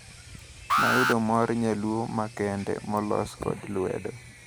Nayudo mor nyaluo ma kende molos kod lwedo.